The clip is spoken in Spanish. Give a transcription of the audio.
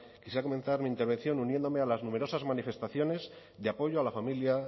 quisiera comenzar mi intervención uniéndome a las numerosas manifestaciones de apoyo a la familia